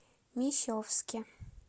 мещовске